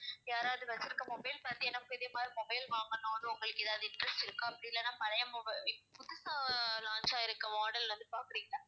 யாராவது வச்சிருக்க mobile பார்த்து எனக்கும் இதே மாதிரி mobile வாங்கணும்னு வந்து உங்களுக்கு ஏதாவது interest இருக்கா அப்படி இல்லன்னா பழைய mob~ இப்ப புதுசா launch ஆயிருக்க model வந்து பாக்கறிங்களா?